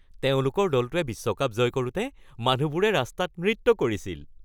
তেওঁলোকৰ দলটোৱে বিশ্বকাপ জয় কৰোঁতে মানুহবোৰে ৰাস্তাত নৃত্য কৰিছিল।